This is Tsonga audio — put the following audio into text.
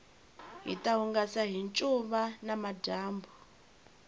hita hungasa hi ncuva namadyambu